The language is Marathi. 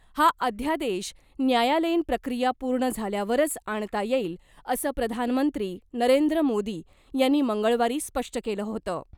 हा अध्यादेश न्यायालयीन प्रक्रिया पूर्ण झाल्यावरच आणता येईल , असं प्रधानमंत्री नरेंद्र मोदी यांनी मंगळवारी स्पष्ट केलं होतं .